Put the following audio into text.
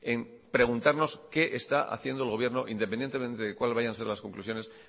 en preguntarnos qué está haciendo el gobierno independientemente de cuales vayan a ser las conclusiones